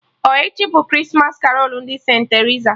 Ọ echi bụ Krismas karolu ndị St.Terisa?